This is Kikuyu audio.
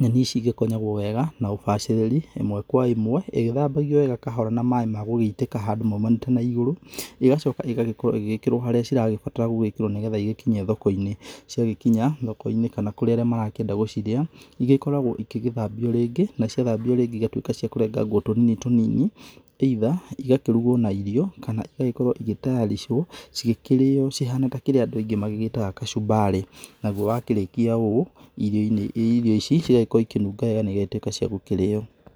Nyenĩ ici igĩkonyagwo wega na ũbacĩrĩri imwe kwa imwe igĩthambagio wega na maĩ magũgĩitĩka handũ maumĩte na igũrũ, ĩgacoka ĩgakorwo ĩgĩkĩrwo harĩa cirabatara gũgĩkĩrwo nĩgetha igĩkinye thoko-inĩ. Ciagĩkinya thoko-inĩ kana kũrĩ arĩa marakĩenda gũcirĩa ĩgĩkoragwo igĩgĩthambio rĩngĩ na ciathambio rĩngĩ igatuĩka cia kũrengwo tũnini tũnini either igakĩrugwo na irio kana igagĩkorwo igĩtayarichwo cigĩkĩrĩyo cihana ta kĩrĩa andũ aingĩ magĩgĩtaga kacumbarĩ. Naguo wakĩrĩkia ũũ irio ici igakorwo ikĩnunga wega na igatuĩka cia gũkũrĩyo.